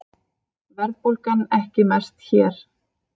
Verðbólgan ekki mest hér